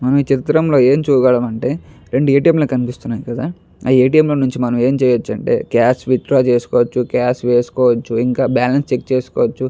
ఈ చిత్రం లో ఏం చూడగలం అంటే రెండు ఏ టి ఏం లు కనిపిస్తున్నాయి కదా ఆ ఏ టి ఏం లో మనం ఏం చేయొచ్చు అంటే కాష్ విత్ డ్రా చేసుకోవొచ్చు కాష్ చెక్ చేస్కోవచ్చు ఇంకా బ్యాలన్స్ చెక్ చేసుకోవొచ్చు .